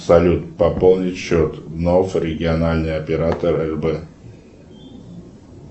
салют пополнить счет нов региональный оператор рб